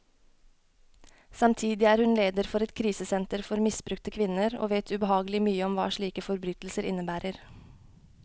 Samtidig er hun leder for et krisesenter for misbrukte kvinner, og vet ubehagelig mye om hva slike forbrytelser innebærer.